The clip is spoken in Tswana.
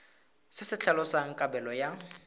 se se tlhalosang kabelo ya